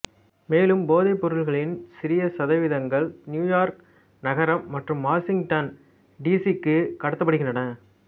மேலும் போதைப்பொருளின் சிறிய சதவீதங்கள் நியூயார்க் நகரம் மற்றும் வாசிங்டன் டி சி க்கு கடத்தப்படுகின்றன